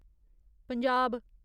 Punjab